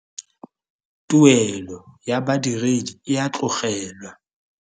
Tuelo ya badiredi e a tlogelwa.